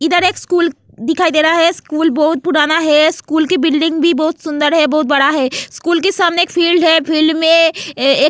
इधर एक स्कूल दिखाई दे रहा है स्कूल बहुत पुराना है स्कूल की बिल्डिंग भी बहुत सुंदर है बहुत बड़ा है स्कूल के सामने एक फील्ड है फील्ड में.